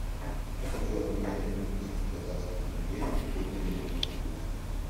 я хочу обменять одну тысячу казахских тенге какой для меня будет курс